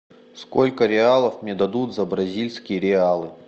сколько реалов мне дадут за бразильские реалы